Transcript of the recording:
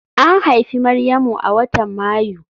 An haifi Maryamu a watan Mayu